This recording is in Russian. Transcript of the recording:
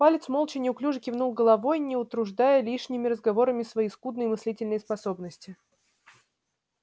палец молча неуклюже кивнул головой не утруждая лишними разговорами свои скудные мыслительные способности